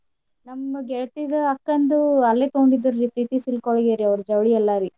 ನಮ್ ಗೆಳ್ತೀದು ಅಕ್ಕಂದು ಅಲ್ಲೇ ತಗೋಂಡಿದ್ರು ರೀ ಪ್ರೀತಿ silk ಒಳ್ಗ ರೀ ಅವ್ರ ಜವ್ಳಿ ಎಲ್ಲಾ ರೀ.